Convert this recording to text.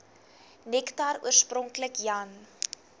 nektar oorspronklik jan